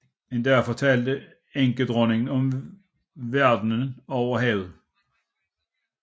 En dag fortalte enkedronningen om verdenen over havet